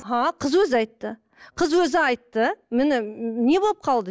а қыз өзі айтты қыз өзі айтты міне не болып қалды